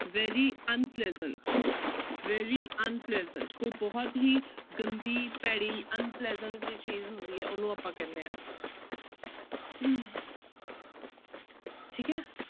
Very unpleasant, very unpleasant ਕੋਈ ਬਹੁਤ ਹੀ ਗੰਦੀ ਭੈੜੀ unpleasant ਜਿਹੀ ਚੀਜ਼ ਹੁੰਦੀ ਹੈ ਉਹਨੂੰ ਆਪਾਂ ਕਹਿੰਦੇ ਹਾਂ ਠੀਕ ਹੈ